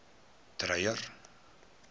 dreyer